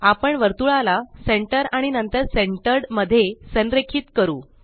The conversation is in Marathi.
आपण वर्तुळाला सेंटर आणि नंतर सेंटर्ड मध्ये संरेखित करू